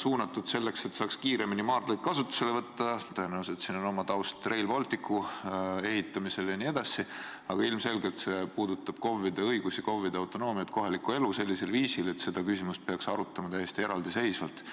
mõeldud selleks, et saaks kiiremini maardlaid kasutusele võtta – tõenäoliselt on siin taustal Rail Balticu ehitamine jne –, aga see puudutab KOV-ide õigusi, KOV-ide autonoomiat, kohalikku elu sellisel viisil, et seda küsimust peaks arutama täiesti eraldiseisvalt.